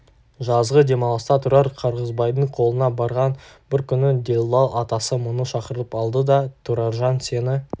жазғы демалыста тұрар қырғызбайдың қолына барған бір күні делдал атасы мұны шақырып алды да тұраржан сені